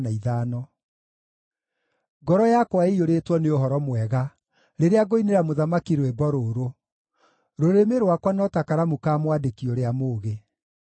Ngoro yakwa ĩiyũrĩtwo nĩ ũhoro mwega rĩrĩa ngũinĩra mũthamaki rwĩmbo rũrũ; rũrĩmĩ rwakwa no ta karamu ka mwandĩki ũrĩa mũũgĩ.